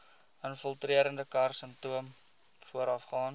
infiltrerende karsinoom voorafgaan